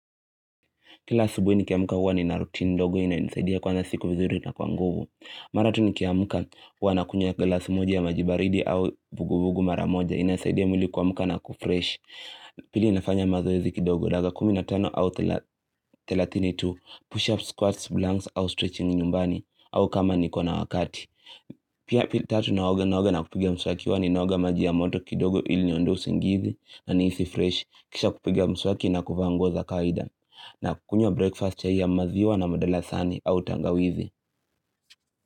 Kila asubuhi nikiamka huwa ni na rutini ndogo inayonisaidia kuanza siku vizuri na kwa nguvu. Mara tu nikiamka huwa nakunywa glasi moja ya maji baridi au vuguvugu mara moja inasaidia mwili kuamka na kufreshi. Pili ninafanya mazoezi kidogo dakika kumi na tano au thelathini tu push up, squats, blanks au stretching nyumbani au kama niko na wakati. Pia tatu naoga naoga na kupiga mswaki huwa ni naoga maji ya moto kidogo ili niondoe usingizi na nihisi fresh. Kisha kupiga mswaki na kuvaa nguo za kwaida. Na kukunywa breakfast chai ya maziwa na mdalasani au tangawizi.